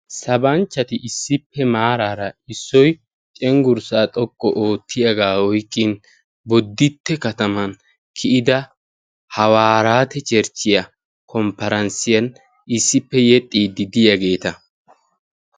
Sabanchchati issippe maraara issoy cenggurssa xoqqu oottiyaaga oykkin Boditte kataman kiyyida hawarate cherchiyan komperanssiyan issippe yeexxide diyaageeta.